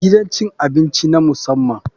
Gidan cin abinci na musamman.